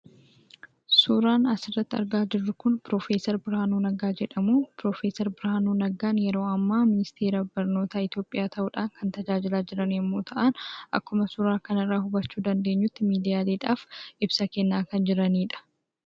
Suuraan asirratti argaa jirru kun piroofeeser Birhaanuu Neggaa jedhamu. Piroofeeser Birhaanuu Neggaan yeroo ammaa ministeera barnoota Itoophiyaa ta'uudhaan kan tajaajilaa jiran yemmuu ta'an; akkuma suuraa kanarraa hubachuu dandeenyutti miidiyaaleedhaaf ibsa kennaa kan jiraniidha.